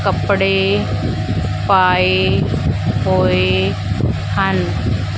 ਕੱਪੜੇ ਪਾਏ ਹੋਏ ਹਨ।